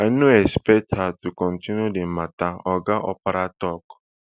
i no expect her to continue di matter oga opara tok